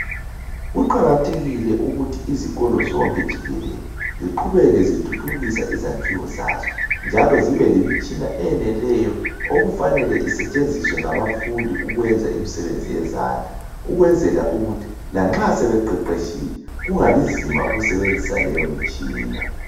Kuqakathekile ukuthi izikolo zonke jikelele ziqhubeke zithuthukisa izakhiwo zaso. Njalo zibelemitshina eneleyo okufanele isetshenziswe ngabafundi ukwenza imsebenzi yezandla. Ukwenzela ukuthi lanxa sebeqeqetshile kungabinzima ukusebenzisa leyomitshina.